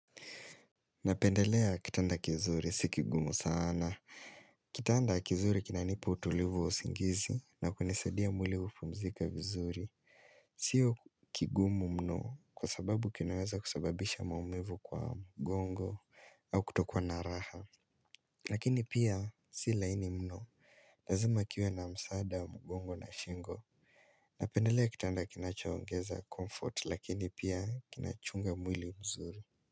Napendelea kitanda kizuri, si kigumu sana. Kitanda kizuri kina nipa utulivu wa usingizi na kunisaidia mwili kupumzika vizuri. Sio kigumu mno kwa sababu kinaweza kusababisha maumivu kwa mgongo au kutokuwa na raha. Lakini pia si laini mno, lazima kiwe na msaada wa mgongo na shingo. Napendelea kitanda kinachaongeza comfort lakini pia kinachunga mwili mzuri.